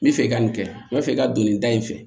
N bɛ fɛ i ka nin kɛ n b'a fɛ i ka don nin da in fɛ